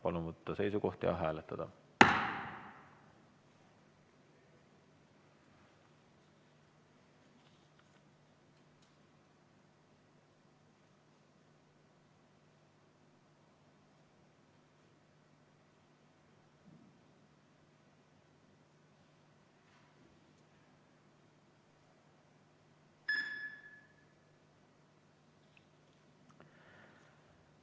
Palun võtta seisukoht ja hääletada!